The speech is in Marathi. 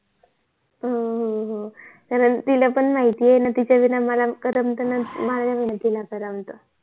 हो हो हो कारण तिला पण माहित आहे न तिच्या विना मला करमत ना माझ्या विना तिला करमत